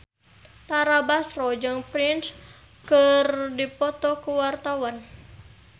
Tara Basro jeung Prince keur dipoto ku wartawan